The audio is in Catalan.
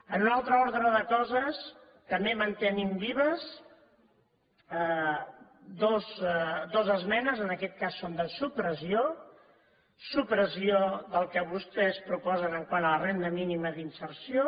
en un altre ordre de coses també mantenim vives dues esmenes en aquest cas són de supressió supressió del que vostès proposen quant a la renda mínima d’inserció